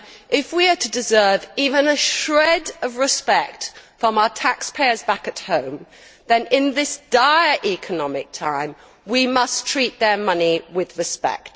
If we are to deserve even a shred of respect from our taxpayers back at home, then in this dire economic time, we must treat their money with respect.